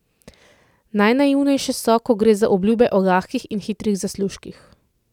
Najnaivnejše so, ko gre za obljube o lahkih in hitrih zaslužkih.